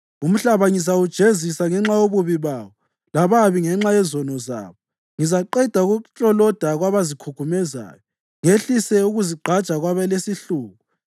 Umhlaba ngizawujezisa ngenxa yobubi bawo, lababi ngenxa yezono zabo. Ngizaqeda ukukloloda kwabazikhukhumezayo, ngehlise ukuzigqaja kwabalesihluku.